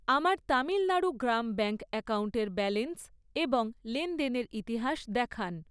আমার তামিলণাড়ু গ্রাম ব্যাঙ্ক অ্যাকাউন্টের ব্যালেন্স এবং লেনদেনের ইতিহাস দেখান।